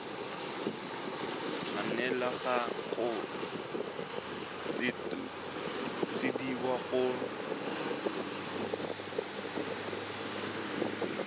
tshwanela go sutisediwa go khamphane